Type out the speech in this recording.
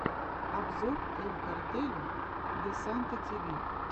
обзор эль картеля де санта ти ви